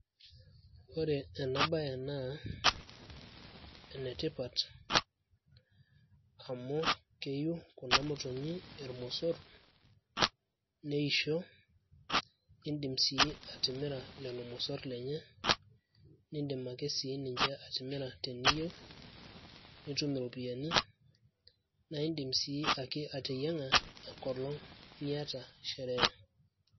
ore ena baye naa enetipat amu keyiu kuna motonyi irmosorr neisho indim sii atimira lelo mosorr lenye niindim ake siininche atimira teniyieu nitum iropiyiani naa indim sii ake ateyiang`a enkolong niata sherehe.